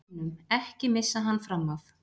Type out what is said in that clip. BÆNUM, EKKI MISSA HANN FRAM AF!